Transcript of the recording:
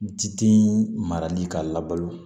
Diden marali ka labalo